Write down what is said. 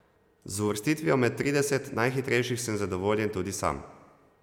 Z uvrstitvijo med trideset najhitrejših sem zadovoljen tudi sam.